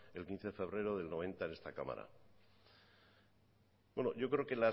el quince de febrero de mil novecientos noventa en esta cámara yo creo que